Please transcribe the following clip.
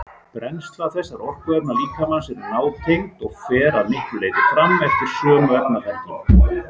Brennsla þessara orkuefna líkamans er nátengd og fer að miklu leyti fram eftir sömu efnaferlum.